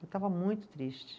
Eu estava muito triste.